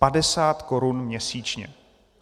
Padesát korun měsíčně.